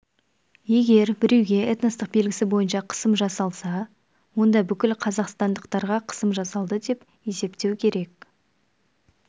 егер біреуге этностық белгісі бойынша қысым жасалса онда бүкіл қазақстандықтарға қысым жасалды деп есептеу керек